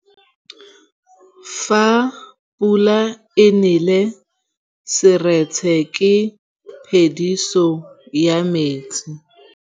Fa pula e nelê serêtsê ke phêdisô ya metsi.